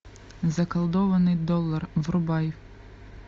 заколдованный доллар врубай